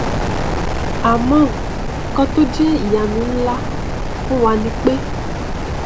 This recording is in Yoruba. àmọ nkan tó jẹ ìyanu nlá fún wa ni pé